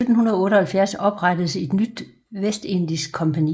I 1778 oprettedes et nyt vestindisk kompagni